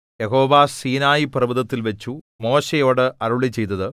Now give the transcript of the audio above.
യഹോവ സീനായിപർവ്വതത്തിൽവച്ചു മോശെയോട് അരുളിച്ചെയ്തത്